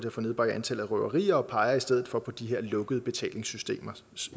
at få nedbragt antallet af røverier de peger i stedet for på de her lukkede betalingssystemer